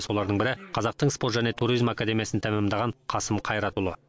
солардың бірі қазақтың спорт және туризм академиясын тәмамдаған қасым қайратұлы